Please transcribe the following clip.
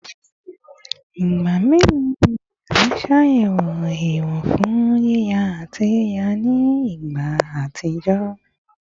Igba melo ni a ṣe ayẹwo ẹwọn fun yiya ati yiya ni igba atijọ?